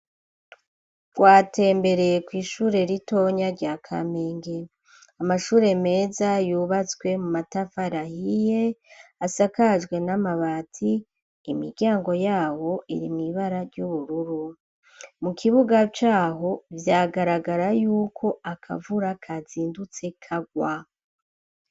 Twatembereye kw'ishure ritonya rya Kamenge amashure meza yubatswe mu matafari ahiye asakajwe n'amabati imiryango yabo iri mw"ibara ry'ubururu mu kibuga caho vyagaragara yuko akavura kazindutse karwa